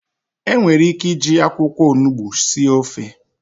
Enwere ike iji akwụkwọ onugbu sie ofe.